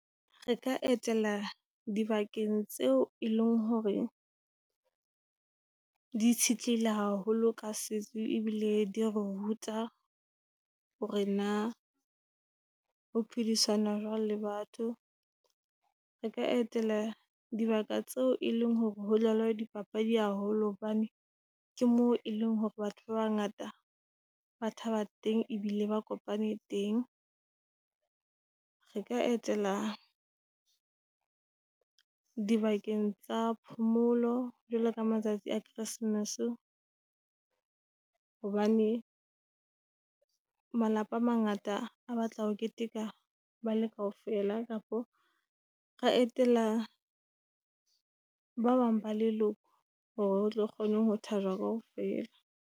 Re ka etela dibakeng tseo e leng hore di itshetleile haholo ka setso, ebile di ruta hore na ho phedisana jwang le batho. Re ka etela dibaka tseo e leng hore ho dlalwa di papadi haholo hobane ke moo e leng hore batho ba bangata ba thaba teng ebile ba kopane teng. Re ka etela di bakeng tsa phomolo jwalo ka matsatsi a Christmas, hobane malapa a mangata a batla ho keteka bale kaofela. Kapa ra etela ba bang ba leloko, hore hotlo kgone ho keteka kaofela.